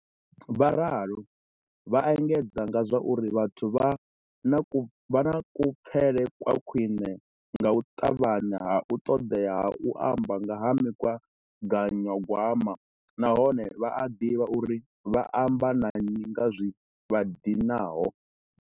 Vha ralo, vha engedza nga zwa uri vhathu vha na kupfele kwa khwine nga u ṱavhanya ha u ṱoḓea ha u amba nga ha migaganyagwama na hone vha a ḓivha uri vha amba na nnyi nga zwi vha dinaho.